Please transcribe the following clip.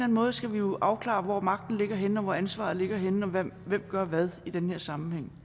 måde skal vi jo afklare hvor magten ligger henne og hvor ansvaret ligger henne og hvem der gør hvad i den her sammenhæng